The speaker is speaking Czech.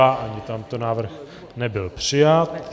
Ani tento návrh nebyl přijat.